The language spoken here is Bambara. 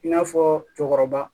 I n'a fɔ cɛkɔrɔba